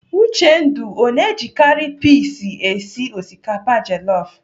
Uchendu ọ na-ejikarị pis esi osikapa jelọf?